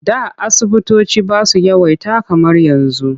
Da asubutoci ba su yawaita kamar yanzu.